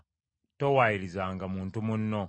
Towaayirizanga muntu munno.